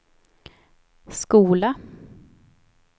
skola